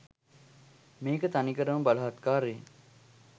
මේක තනිකරම බලහත්කාරයෙන්